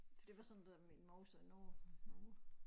For det var sådan det der min mor sagde nu nu